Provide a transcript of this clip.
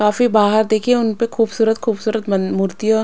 काफी बाहर देखिए उन पर खूबसूरत खूबसूरत मूर्तियों--